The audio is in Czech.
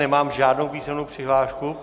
Nemám žádnou písemnou přihlášku.